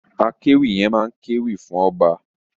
Akéwì yẹn máa kéwì fún ọba.